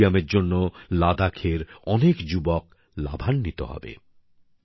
এই স্টেডিয়ামের জন্য লাদাখের অনেক যুবক লাভবান হবে